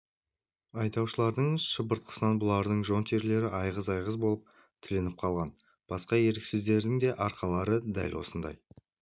айдаушылардың шыбыртқысынан бұлардың жон терілері айғыз-айғыз болып тілініп қалған басқа еріксіздердің де арқалары дәл осындай